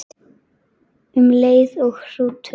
Um leið og hrútur